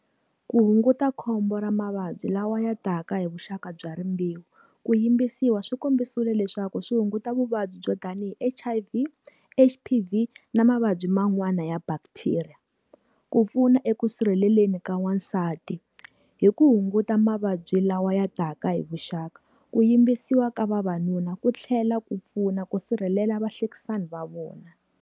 Ku hunguta khombo ra mavabyi lawa ya taka hi vuxaka bya rimbewu. Ku yimbisiwa swi kombisiwile leswaku swi hunguta vuvabyi byo tanihi H_I_V, H_P_V na mavabyi ma n'wana ya bacteria. Ku pfuna eka ku sirheleleni ka wansati. Hi ku hunguta mavabyi lawa ya taka hi vuxaka. Ku yimbisiwa ka vavanuna ku tlhela ku pfuna ku sirhelela vahlekisani va vona.